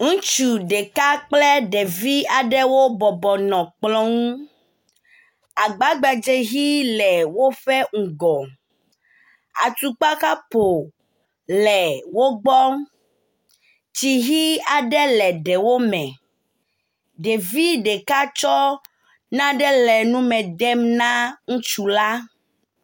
Ŋutsu ɖeka kple ɖevi aɖewo bɔbɔ nɔ kplɔ ŋu, agba gbadze ʋɛ̃ aɖe le woƒe ŋgɔ. Atukpa kapo le wo gbɔ, tsi ʋɛ̃ aɖe le ɖewo me. Ɖevi ɖeka tsɔ nane le nu me dem na ŋutsu la.